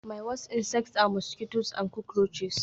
My worst insects are mosquitoes and cockroaches